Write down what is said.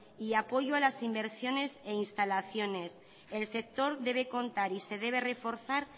y apoyo a las inversiones e instalaciones el sector debe contar y se debe reforzar